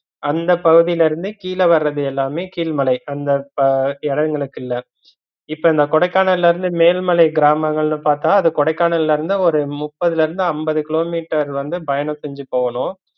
அந்த பகுதிலருந்து கீழவர்றது எல்லாமே கீழ்மலை அந்த அஹ் இடைவுகளுகுள்ள இப்ப இந்த கொடைக்கானல்லருந்து மேல்மலை கிராமங்கல்னு பாத்தா அது கொடைக்கானலருந்து ஒரு முப்பதுலருந்து அம்பது கிலோமீட்டர் வந்து பயணம் செஞ்சுபோகனும்